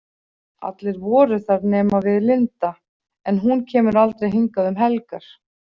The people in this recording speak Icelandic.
Allir voru þar nema við Linda en hún kemur aldrei hingað um helgar.